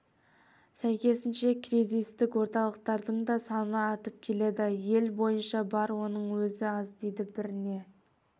сәйкесінше кризистік орталықтардың да саны артып келеді ел бойынша бар оның өзі аз дейді біріне